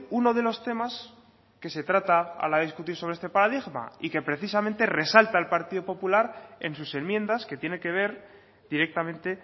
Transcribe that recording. uno de los temas que se trata a la hora discutir sobre este paradigma y que precisamente resalta el partido popular en sus enmiendas que tiene que ver directamente